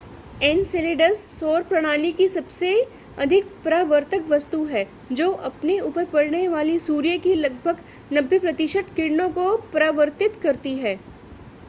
Enceladus सौर प्रणाली की सबसे अधिक परावर्तक वस्तु है जो अपने ऊपर पड़ने वाली सूर्य की लगभग 90 प्रतिशत किरणों को परावर्तित करती है